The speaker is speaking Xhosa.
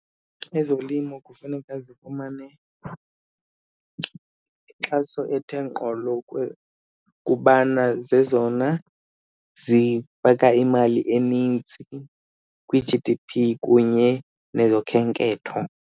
Ezolimo kufuneka zifumane inkxaso ethe ngqolo kubana zezona zifaka imali enintsi kwi-G_D_P kunye nezokhenketho.